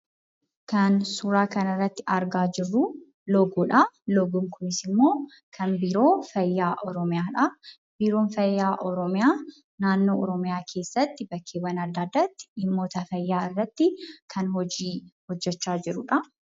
Kan suuraa kanarratti argaa jiru loogoodhaa. Loogoon kunis immoo kan biiroo fayyaa Oromiyaa dhaa. Biiroon fayyaa Oromiyaa naannoo Oromiyaa keessatti bakkeewwan addaa addaatti dhimmoota fayyaa irratti kan hojii hojjechaa jirudha.